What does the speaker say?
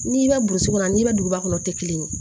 N'i bɛ burusi kɔnɔ n'i bɛ duguba kɔnɔ o tɛ kelen ye